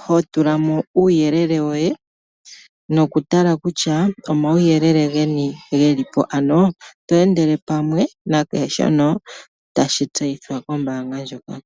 ho tula mo uuyelel woye nokutala kutya omauyelele geni ge li po, ano to endele pamwe nakehe shono tashi tseyithwa kombaanga ndjoka.